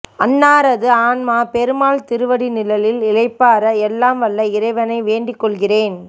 அன்னாரது ஆன்மா பெருமாள் திருவடி நிழலில் இளைப்பாற எல்லாம் வல்ல இறைவனை வேண்டிக்கொள்கிறேன்